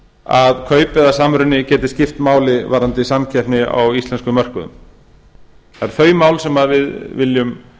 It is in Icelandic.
að kaup eða samruni geti skipt máli varðandi samkeppni á íslenskum mörkuðum það eru þau mál sem við viljum